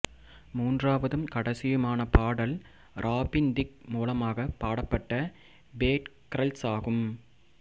மூன்றாவதும் கடைசியுமான பாடல் Robin Thicke மூலமாக பாடப்பட்ட பேட் கர்ல்ஸ் ஆகும்